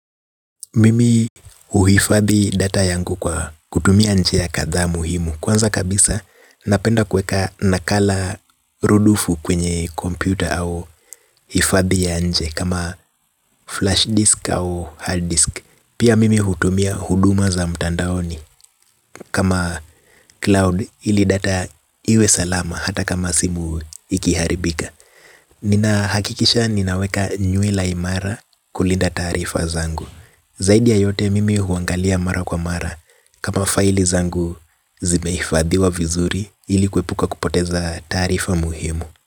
Mimi huhifadhi data yangu kwa kutumia njia kadhaa muhimu. Kwanza kabisa napenda kueka nakala rudufu kwenye kompyuta au hifadhi ya nje kama flash disk au hard disk. Pia mimi hutumia huduma za mtandaoni. Kama cloud ili data iwe salama hata kama simu ikiharibika. Nina hakikisha ninaweka nyui la imara kulinda taarifa zangu. Zaidi ya yote mimi huangalia mara kwa mara. Kama faili zangu zimeifadhiwa vizuri ili kuepuka kupoteza taarifa muhimu.